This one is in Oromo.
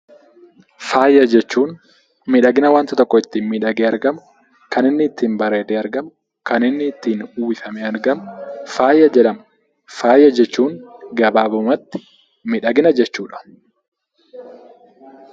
Faaya jechuun miidhagina wanta tokko ittiin inni ittiin bareedee miidhagee argamu kan inni ittiin uffifamee argamu faaya jedhama. Faaya jechuun gabaabumatti miidhagina jechuudha.